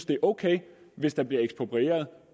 det er ok hvis der bliver eksproprieret